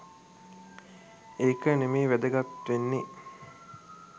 ඒක නෙමෙයි වැදගත් වෙන්නෙ